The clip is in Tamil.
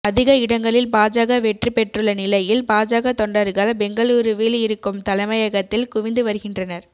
அதிக இடங்களில் பாஜக வெற்றி பெற்றுள்ள நிலையில் பாஜக தொண்டர்கள் பெங்களுருவில் இருக்கும் தலைமையகத்தில் குவிந்து வருகின்றனர்